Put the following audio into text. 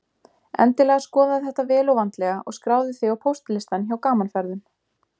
Endilega skoðaðu þetta vel og vandlega og skráðu þig á póstlistann hjá Gaman Ferðum.